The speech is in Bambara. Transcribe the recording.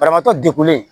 Banabaatɔ degunlen